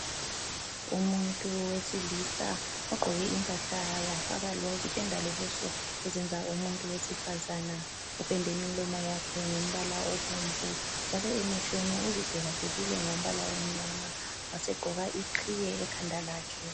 Umuntu wesilisa ogqoke impahla wafaka wazipenda lobuso ezenza umuntu wesifazana, upende imilomo yakhe ngombala obomvu njalo emehlweni uzidwebadwebile ngombala omnyama wasegqoka iqhiye ekhanda lakhe.